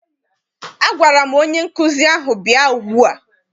Agwara m onye nkụzi ahụ, bịa ugbua!